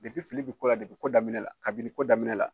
fili bi kɔ la, ko daminɛ la, kabini ko daminɛ la.